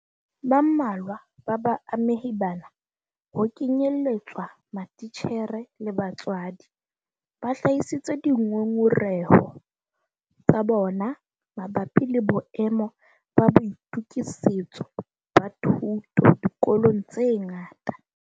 Ba mmalwa ba baamehi bana - ho kenyeletswa matitjhere le batswadi - ba hlahisitse dingongoreho tsa bona mabapi le boemo ba boitokisetso ba thuto dikolong tse ngata.